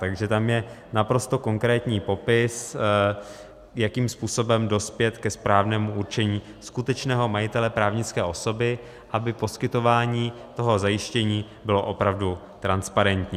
Takže tam je naprosto konkrétní popis, jakým způsobem dospět ke správnému určení skutečného majitele právnické osoby, aby poskytování toho zajištění bylo opravdu transparentní.